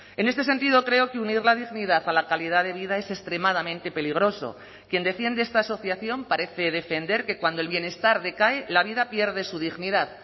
en este sentido creo que unir la dignidad a la calidad de vida es extremadamente peligroso quien defiende esta asociación parece defender que cuando el bienestar decae la vida pierde su dignidad